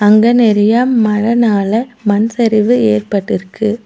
அங்க நெறைய மழைனால மண் சரிவு ஏற்பட்டுருக்கு.